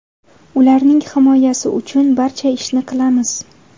Ularning himoyasi uchun barcha ishni qilamiz.